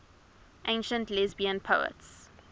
ancient lesbian poets